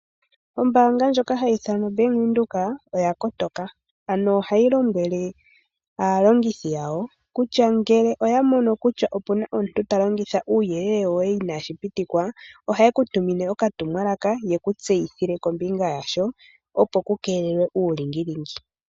Ombaanga ndjoka ha yi ithanwa oBank Windhoek, oya kotoka, ano ohayi lombwele aalongithi yawo kutya: ngele oya mono kutya opu na omuntu ta longitha uuyelele woye inaashi pitikwa, ohaye ku tunime okatumwalaka yeku tseyithile kombinga yasho opo ku keelelwe uulingilingi.